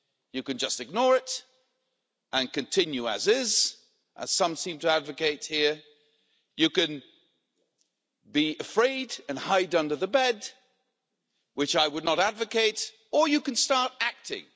You can just ignore it and continue as is as some seem to advocate here you can be afraid and hide under the bed which I would not advocate or you can start acting.